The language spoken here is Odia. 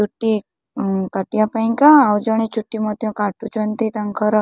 ଗୋଟିଏ ଉଁ କାଟିବା ପାଇଁକା ଆଉ ଜଣେ ଚୁଟି ମଧ୍ୟ କାଟୁଛନ୍ତି ତାଙ୍କର--।